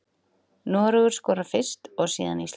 Noregur skorar fyrst og síðan Ísland.